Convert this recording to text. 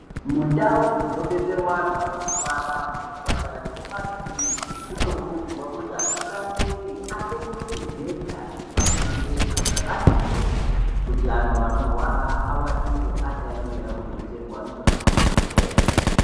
Mundau dzinobetserwa anhu anorwara muzvipatara nemumakiriniki munokurudzirwa kuti atungamiriri atenge magumbeza nemibhedha zvakati hwe kuti antu anorwara avatire akaemera kubetserwa ngemadhokodheya.